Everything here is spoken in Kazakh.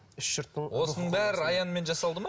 үш жұрттың осының бәрі аянмен жасалды ма